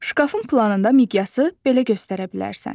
Şkafın planında miqyası belə göstərə bilərsən.